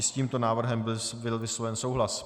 I s tímto návrhem byl vysloven souhlas.